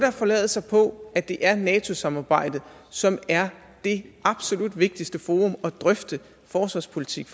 forlade sig på at det er nato samarbejdet som er det absolut vigtigste forum at drøfte forsvarspolitik